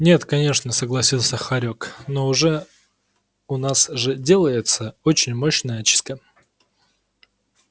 нет конечно согласился хорёк но у нас же делается очень мощная очистка